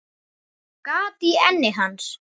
Gat í enni hans.